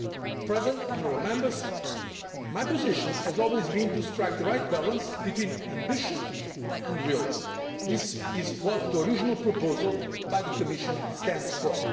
Mr President, honourable Members, my position has always been to strike the right balance between ambition and realism and that is what the original proposal by the Commission stands